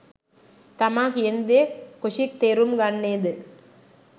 තමා කියනදේ කොෂික් තේරුම් ගන්නේ ද